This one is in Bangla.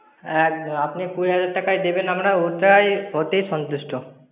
একদম, আপনি কুড়ি হাজার টাকাই দেবেন আমরা ওটাই অতেই সন্তুষ্ট।